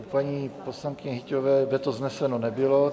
U paní poslankyně Hyťhové veto vzneseno nebylo.